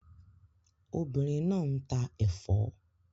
Obìnrin náà ń ta ẹ̀fọ́